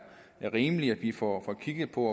rimeligt at vi får kigget på